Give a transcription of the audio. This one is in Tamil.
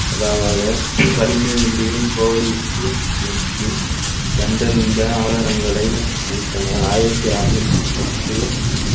கணினியும் வில்லியம் கோவையுற்று நோக்கி கண்டறிந்த ஆதாரங்களை அளித்தனர் ஆயிரத்தி அறுநூத்தி பத்து